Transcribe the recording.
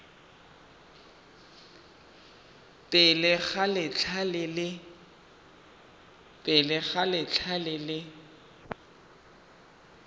pele ga letlha le le